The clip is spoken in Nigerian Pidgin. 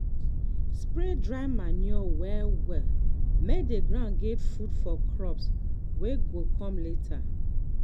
spread dry manure well-well make ground get food for crops wey go come later.